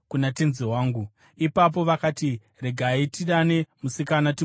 Ipapo vakati, “Regai tidane musikana timubvunze nezvazvo.”